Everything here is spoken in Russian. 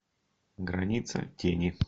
граница тени